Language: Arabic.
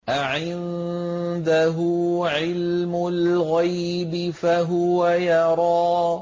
أَعِندَهُ عِلْمُ الْغَيْبِ فَهُوَ يَرَىٰ